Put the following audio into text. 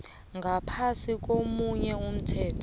ngaphasi komunye umthetho